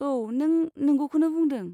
औ, नों नोंगौखौनो बुंदों।